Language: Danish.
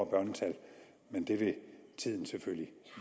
børnetal men det vil tiden selvfølgelig